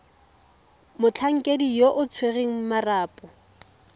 motlhankedi yo o tshwereng marapo